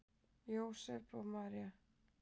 Jósep og María